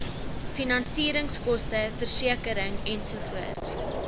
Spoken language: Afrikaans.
finansieringskoste versekering ensovoorts